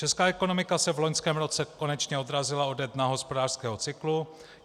Česká ekonomika se v loňském roce konečně odrazila ode dna hospodářského cyklu.